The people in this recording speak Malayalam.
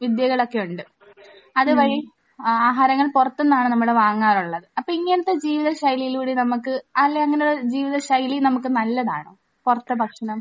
വിദ്യകളൊക്കെയുണ്ട്. അത് വഴി ആഹാരങ്ങൾ പുറത്തു നിന്നാണ് നമ്മൾ വാങ്ങാറുള്ളത്. അപ്പോൾ ഇങ്ങനത്തെ ജീവിതശൈലിയിലൂടെ നമുക്ക് അല്ല ഇങ്ങനെ ജീവിതശൈലി നമുക്ക് നല്ലതാണോ? പുറത്തെ ഭക്ഷണം.